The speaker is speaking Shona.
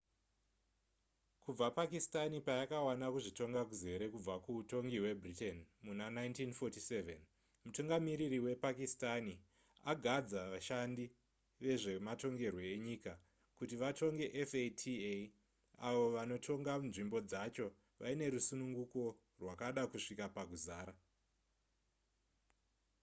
kubva pakistani payakawana kuzvitonga kuzere kubva kuutongi hwebritain muna 1947 mutungamiriri wepakistani agadza vashandi vezvematongerwe enyika kuti vatonge fata avo vanotonga nzvimbo dzacho vaine rusununguko rwakada kusvika pakuzara